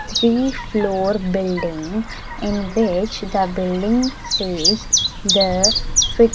three floor building in which the building says the --